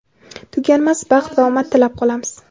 tuganmas baxt va omad tilab qolamiz!.